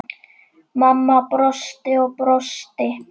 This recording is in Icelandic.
Mamma brosti og brosti.